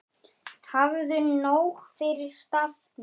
Hafðu nóg fyrir stafni.